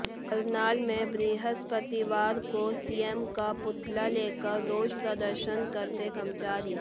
करनाल में बृहस्पतिवार को सीएम का पुतला लेकर रोष प्रदर्शन करते कर्मचारी